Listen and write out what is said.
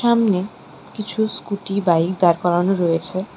সামনে কিছু scooty bike দাঁড় করানো রয়েছে।